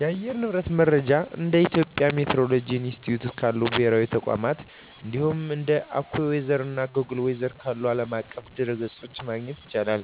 የአየር ንብረት መረጃን እንደ የኢትዮጵያ ሚቲዎሮሎጂ ኢንስቲትዩት ካሉ ብሔራዊ ተቋማት፣ እንዲሁም እንደ AccuWeather እና Google Weather ካሉ ዓለም አቀፍ ድረ-ገጾች ማግኘት ይቻላል።